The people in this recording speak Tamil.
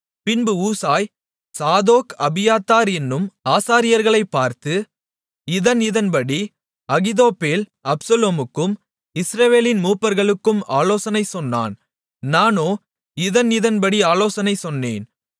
பின்பு ஊசாய் சாதோக் அபியத்தார் என்னும் ஆசாரியர்களைப் பார்த்து இதன் இதன்படி அகித்தோப்பேல் அப்சலோமுக்கும் இஸ்ரவேலின் மூப்பர்களுக்கும் ஆலோசனை சொன்னான் நானோ இதன் இதன்படி ஆலோசனை சொன்னேன்